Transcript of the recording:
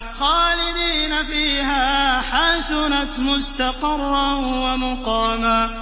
خَالِدِينَ فِيهَا ۚ حَسُنَتْ مُسْتَقَرًّا وَمُقَامًا